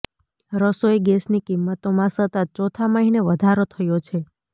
રસોઈ ગેસની કિંમતોમાં સતત ચોથા મહિને વધારો થયો છે